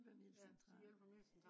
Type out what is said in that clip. fra hjælpemiddelcentralen